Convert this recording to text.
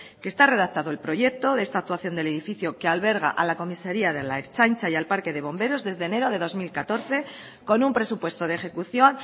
que está redactado el proyecto de esta actuación del edificio que alberga a la comisaría de la ertzaintza y al parque de bomberos desde enero de dos mil catorce con un presupuesto de ejecución